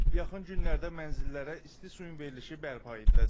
Yaxın günlərdə mənzillərə isti suyun verilişi bərpa ediləcək.